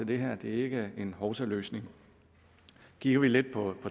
det her det er ikke en hovsaløsning kigger vi lidt på